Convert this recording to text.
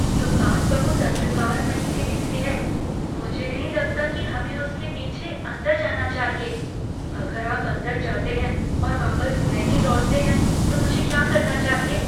दुकान बहुत अंधकारमयी सी दिखती है। मुझे नहीं लगता कि हमें उसके पीछे अंदर जाना चाहिए। अगर आप अंदर जाते हैं और वापस नहीं लौटते हैं तो मुझे क्या करना चाहिए?